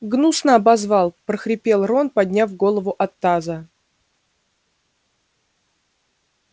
гнусно обозвал прохрипел рон подняв голову от таза